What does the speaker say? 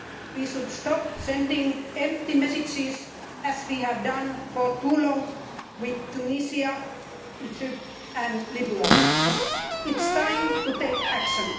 We should stop sending empty messages, as we have done for too long with Tunisia, Egypt and Libya. It is time to take action.